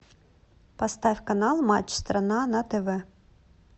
поставь канал матч страна на тв